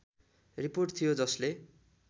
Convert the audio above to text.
report थियो जसले